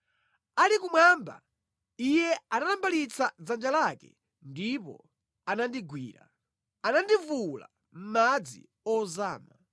Ali kumwamba, Iye anatambalitsa dzanja lake ndipo anandigwira; anandivuwula mʼmadzi ozama.